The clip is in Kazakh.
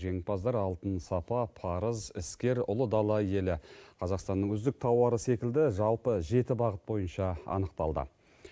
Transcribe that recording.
жеңімпаздар алтын сапа парыз іскер ұлы дала елі қазақстанның үздік тауары секілді жалпы жеті бағыт бойынша анықталды